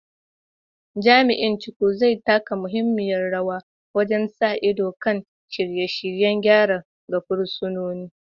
Jami’in Chukwu, zai taka muhimmiyar rawa wajen sa ido kan shirye-shiryen gyara ga fursunoni.